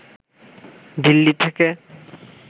দিল্লি থেকে